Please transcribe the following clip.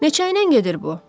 Neçə ilnən gedir bu?